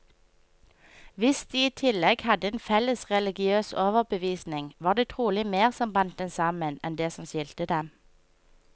Hvis de i tillegg hadde en felles religiøs overbevisning, var det trolig mer som bandt dem sammen, enn det som skilte dem.